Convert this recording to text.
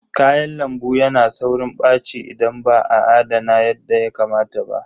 Kayan lambu yana saurin ɓaci idan ba a adana yadda ya kamata ba.